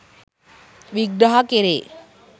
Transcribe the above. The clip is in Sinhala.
විග්‍රහ කෙරේ.